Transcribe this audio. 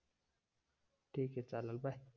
ठीके चालेल बाय